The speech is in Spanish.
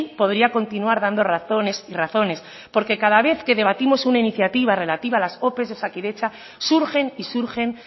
podría continuar dando razones y razones porque cada vez que debatimos una iniciativa relativa a las ope de osakidetza surgen y surgen